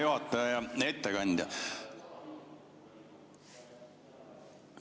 Hea ettekandja!